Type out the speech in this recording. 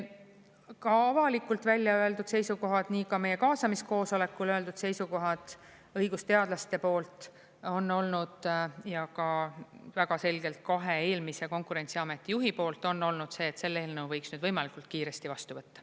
Ka avalikult välja öeldud seisukohad, nii ka meie kaasamiskoosolekul öeldud seisukohad õigusteadlaste poolt on olnud ja ka väga selgelt kahe eelmise Konkurentsiameti juhi poolt on olnud see, et selle eelnõu võiks võimalikult kiiresti vastu võtta.